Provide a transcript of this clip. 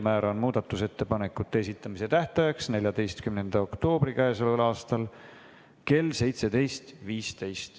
Määran muudatusettepanekute esitamise tähtajaks k.a 14. oktoobri kell 17.15.